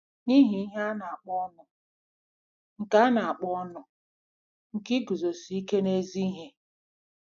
N'ihi ihe a na-akpọ "ọnụ nke na-akpọ "ọnụ nke iguzosi ike n'ezi ihe."